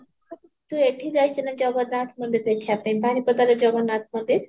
ତ ଏଇଠି ଯାଇଛି ନା ଜଗନ୍ନାଥ ମନ୍ଦିର ଦେଖିବା ପାଇଁ ବାରିପଦାର ଜଗନ୍ନାଥ ମନ୍ଦିର